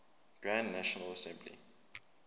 grand national assembly